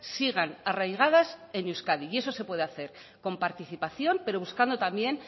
sigan arraigadas en euskadi y eso se puede hacer con participación pero buscando también